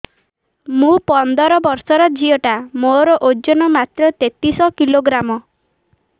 ମୁ ପନ୍ଦର ବର୍ଷ ର ଝିଅ ଟା ମୋର ଓଜନ ମାତ୍ର ତେତିଶ କିଲୋଗ୍ରାମ